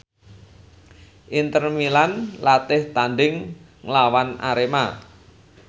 Inter Milan latih tandhing nglawan Arema